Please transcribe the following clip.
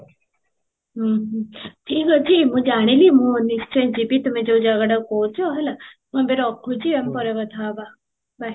ହୁଁ ହୁଁ ଠିକ ଅଛି ମୁଁ ଜାଣିଲି ମୁଁ ନିଶ୍ଚୟ ଯିବି ତୁମେ ଯଉ ଜାଗାଟା କହୁଛ ହେଲା, ମୁଁ ଏବେ ରଖୁଛି ଆମେ ପରେ କଥା ହବା bye